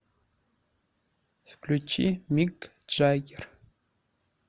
включи мик джаггер